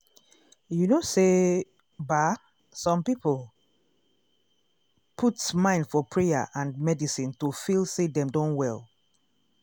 you know say ba some people put mind for prayer and medicine to feel say dem don well.